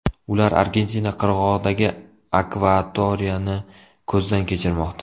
Ular Argentina qirg‘og‘idagi akvatoriyani ko‘zdan kechirmoqda.